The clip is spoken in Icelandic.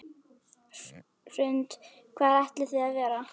Hrund: Hvar ætlið þið að vera?